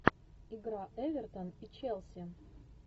игра эвертон и челси